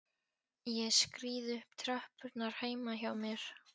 Ég skríð upp tröppurnar heima hjá mér.